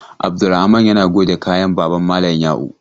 Abdulrahaman yana goge kayan baban malam yau.